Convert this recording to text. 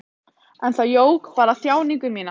En það jók bara þjáningu mína.